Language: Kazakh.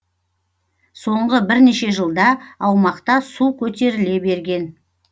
соңғы бірнеше жылда аумақта су көтеріле берген